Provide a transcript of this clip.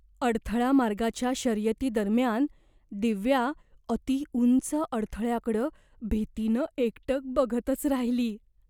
अडथळा मार्गाच्या शर्यतीदरम्यान दिव्या अतिउंच अडथळ्याकडं भीतीनं एकटक बघतच राहिली.